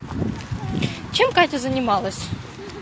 чем катя занималась